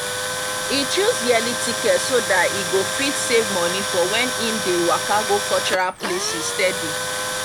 e chose yearly ticket so that e go fit save money for when e dey waka go cultural places steady.